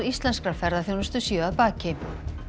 íslenskrar ferðaþjónustu séu að baki